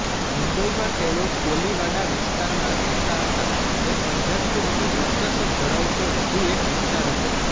મુંબઇમાં તેઓ કોલિવાડા વિસ્તારમાં રહેતા હતા જે પંજાબીઓનું વર્ચસ્વ ધરાવતો વધુ એક વિસ્તાર હતો